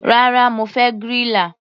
Rárá, mo fẹ́ griller.